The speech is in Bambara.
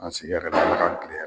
A sigi yɛrɛ ka